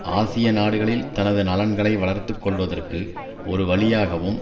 ஆசிய நாடுகளில் தனது நலன்களை வளர்த்து கொள்வதற்கு ஒரு வழியாகவும்